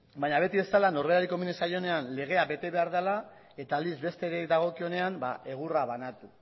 baina beti bezala norberari komeni zaionean legea bete behar dela eta aldiz besteei dagokienean egurra banatu